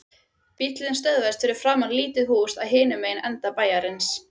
Bíllinn stöðvaðist fyrir framan lítið hús í hinum enda bæjarins.